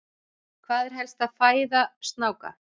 Hver er helsta fæða snáka?